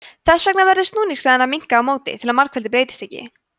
þess vegna verður snúningshraðinn að minnka á móti til að margfeldið breytist ekki